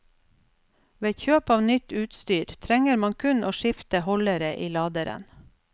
Ved kjøp av nytt utstyr trenger man kun å skifte holdere i laderen.